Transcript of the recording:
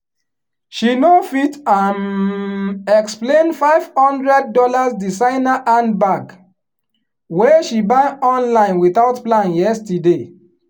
she no fit um explain five hundred dollars designer handbag wey she buy online without plan yesterday.